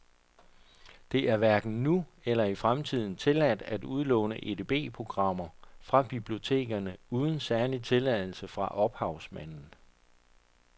Det er hverken nu eller i fremtiden tilladt at udlåne edb-programmer fra bibliotekerne uden særlig tilladelse fra ophavsmanden.